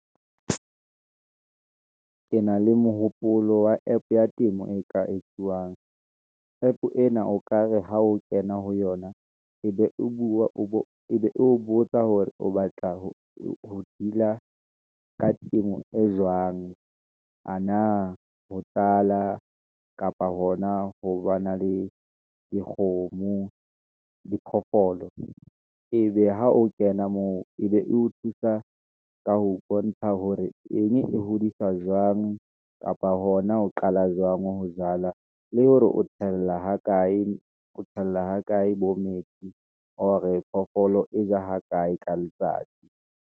Ke na le mohopolo wa app ya temo e ka etsuwang, app ena o ka re ha o kena ho yona, e be o bua, e be o botsa hore o batla ho dila, ka temo e jwang. Ana ho tjala kapa hona ho ba na le dikgomo, diphoofolo, ebe ha o kena moo, ebe e o thusa ka ho bontsha hore eng e hodisa jwang, kapa hona ho qala jwang ho jala, le hore o tshela ha kae bo metsi, or phofolo e ja ha kae ka letsatsi.